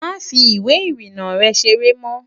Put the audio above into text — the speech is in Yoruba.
Máa fi ìwé ìrìnnà rę seré mó!